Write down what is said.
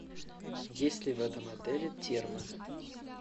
есть ли в этом отеле термо